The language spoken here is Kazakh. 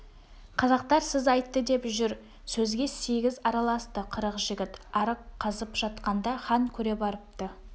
қазақтар сіз айтты деп жүр сөзге сегіз араласты қырық жігіт арық қазып жатқанда хан көре барыпты